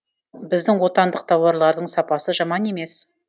біздің отандық тауарлардың сапасы жаман емес